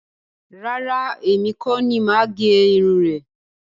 Rárá, èmi kọ́ ni máa gé irun rẹ̀